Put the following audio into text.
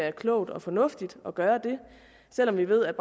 er klogt og fornuftigt at gøre det selv om vi ved at